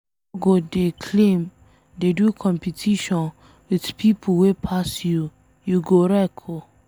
No go dey claim, dey do competition with pipo wey pass you, you go wreck oo